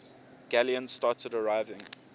galleons started arriving